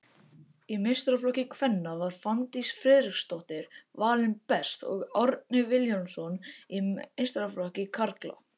Í meistaraflokki kvenna var Fanndís Friðriksdóttir valinn best og Árni Vilhjálmsson í meistaraflokki karla.